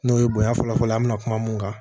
N'o ye bonya fɔlɔ fɔlɔ ye an mi na kuma mun kan